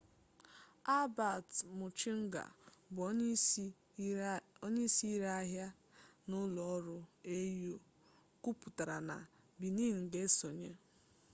albert muchunga bụ onye isi ire ahịa n'ụlọ ọrụ au kwuputara na benin ga esonye